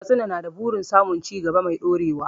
Katsina na da burin samun cigaba mai ɗorewa.